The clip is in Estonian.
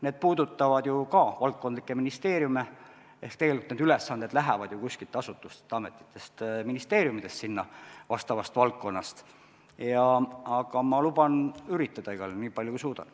Need puudutavad ju ka valdkondlikke ministeeriume ehk tegelikult need ülesanded lähevad ju asutustest, ametitest, ministeeriumidest sinna, aga ma luban üritada igal juhul nii palju, kui suudan.